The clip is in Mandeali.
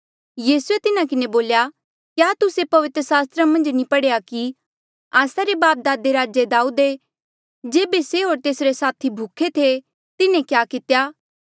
यीसूए तिन्हा किन्हें बोल्या क्या तुस्से पवित्र सास्त्रा मन्झ नी पढ़ेया कि आस्सा रे बापदादे राजा दाऊदे जेबे से होर तेसरे साथी भूखे थे तिन्हें क्या कितेया